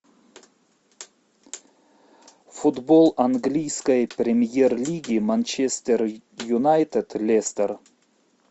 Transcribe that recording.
футбол английской премьер лиги манчестер юнайтед лестер